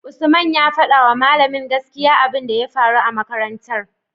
usman ya fadawa mallamin gaskiya abun da ya faru a makarantar